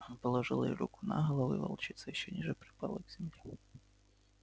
он положил ей руку на голову и волчица ещё ниже припала к земле